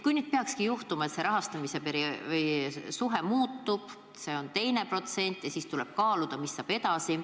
Kui nüüd peakski juhtuma nii, et rahastamise suhe muutub ja nähakse ette teistsugune protsent, siis tuleb kaaluda, mis saab edasi.